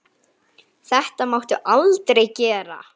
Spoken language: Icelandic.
Þetta máttu aldrei gera.